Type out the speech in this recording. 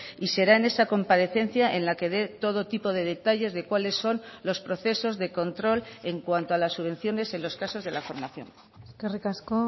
y será en esa comparecencia en la que dé todo tipo de detalles de cuáles son los procesos de control en cuanto a las subvenciones en los casos de la formación eskerrik asko